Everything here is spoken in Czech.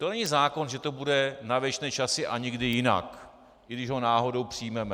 To není zákon, že to bude na věčné časy a nikdy jinak, i když ho náhodou přijmeme.